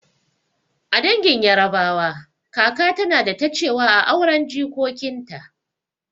A dangin yarabawa, kaka tana da ta cewa a auren jikokinta